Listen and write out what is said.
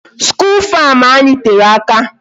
School farm anyị tere aka.